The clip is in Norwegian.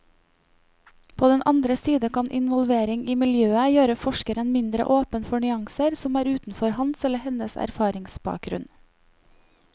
På den andre side kan involvering i miljøet gjøre forskeren mindre åpen for nyanser som er utenfor hans eller hennes erfaringsbakgrunn.